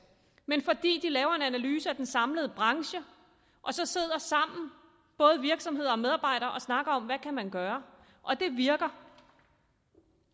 men fordi de laver en analyse af den samlede branche og så sidder sammen både virksomheder og medarbejdere og snakker om hvad man kan gøre det virker